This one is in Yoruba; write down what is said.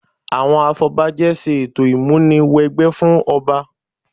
Àwọn afọbajẹ ṣe ètò ìmúni wẹgbẹ́ fún ọba